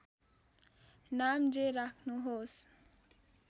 नाम जे राख्नुहोस्